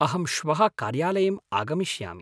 अहं श्वः कार्यालयम् आगमिष्यामि।